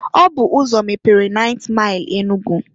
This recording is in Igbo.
Ọ bụ ụzọ mepere 9th Maịl Enugu.